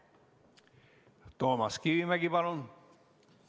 Toomas Kivimägi, palun!